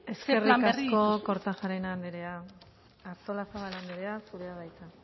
ze plan berri eskerrik asko kortajarena andrea artolazabal andrea zurea da hitza